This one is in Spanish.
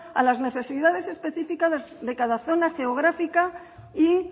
a las necesidades específicas de cada zona geográfica y